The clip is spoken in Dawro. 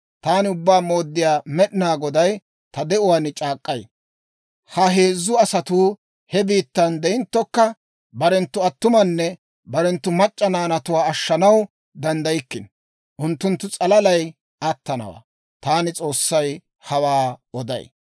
taani Ubbaa Mooddiyaa Med'inaa Goday ta de'uwaan c'aak'k'ay: Ha heezzu asatuu he biittan de'inttokka, barenttu attumanne barenttu mac'c'a naanatuwaa ashshanaw danddaykkino. Unttunttu s'alalay attanawaa. Taani S'oossay hawaa oday.